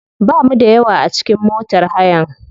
Bamu da yawa a cikin motar hayan.